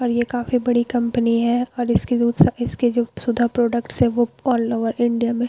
और ये काफी बड़ी कंपनी है और इसके जो दूसरा इसके जो सुधा प्रोडक्ट्स है जो आल ओवर इंडिया में--